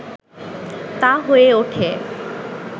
তা হয়ে ওঠে